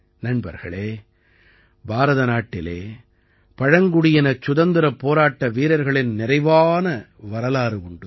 நண்பர்களே பாரதநாட்டிலே பழங்குடியினச் சுதந்திரப் போராட்ட வீரர்களின் நிறைவான வரலாறு உண்டு